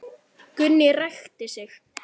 Gunni ræskti sig.